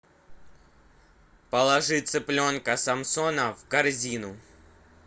положи цыпленка самсона в корзину